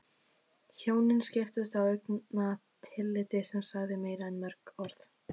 Hjónin skiptust á augnatilliti sem sagði meira en mörg orð.